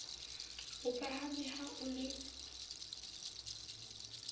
o phaphame ha o le